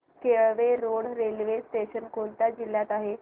Kelve road railway station कोणत्या जिल्ह्यात आहे